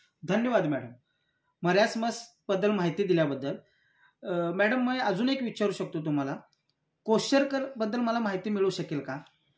धन्यवाद मॅडम. मरासमसबद्दल माहिती दिल्याबद्दल. मॅडम मी अजून एक विचारू शकतो तुम्हाला? क्वोशरकरबद्दल मला माहिती मिळू शकेल का?